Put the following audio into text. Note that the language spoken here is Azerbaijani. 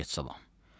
Əleyküm salam.